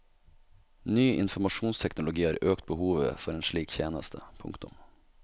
Ny informasjonsteknologi har økt behovet for en slik tjeneste. punktum